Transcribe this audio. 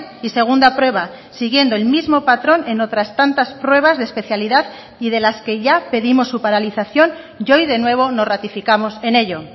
y segunda prueba siguiendo el mismo patrón en otras tantas pruebas de especialidad y de las que ya pedimos su paralización y hoy de nuevo nos ratificamos en ello